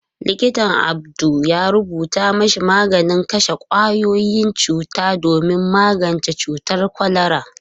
Likitan Audu ya rubuta mashi maganin kashe kwayoyin cuta domin magance cutar kwalara.